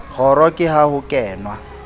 kgoro ke ha ho kenwa